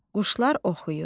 Quşlar oxuyur.